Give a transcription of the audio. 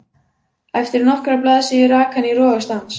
Eftir nokkrar blaðsíður rak hann í rogastans.